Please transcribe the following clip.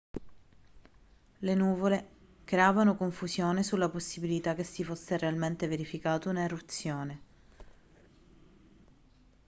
le nuvole creavano confusione sulla possibilità che si fosse realmente verificata un'eruzione